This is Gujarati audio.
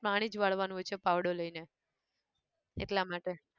પાણી જ વાળવાનું હોય છે પાવડો લઈને એટલા માટે